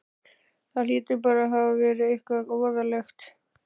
Það hlýtur bara að hafa verið eitthvað voðalegt.